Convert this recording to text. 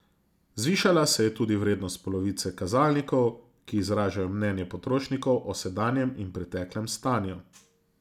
Zvišala se je tudi vrednost polovice kazalnikov, ki izražajo mnenje potrošnikov o sedanjem in preteklem stanju.